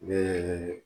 Ne ye